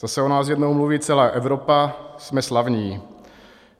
Zase o nás jednou mluví celá Evropa, jsme slavní.